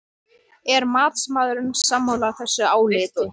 Er matsmaðurinn sammála þessu áliti?